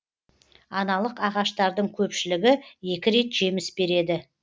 аналық ағаштардың көпшілігі екі рет жеміс береді